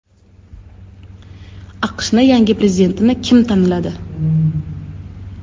AQShning yangi prezidentini kim tanladi?